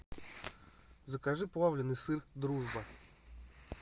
закажи плавленный сыр дружба